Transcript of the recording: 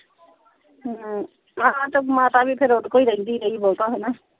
ਅਮ ਆਹ ਤੇ ਮਾਤਾ ਵੀ ਫੇਰ ਓਦੇ ਕੋਲ ਰਹਿੰਦੀ ਰਹੀ ਬਹੁਤਾ ਹਣਾ।